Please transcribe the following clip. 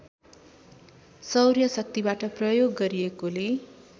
सौर्यशक्तिबाट प्रयोग गरिएकोले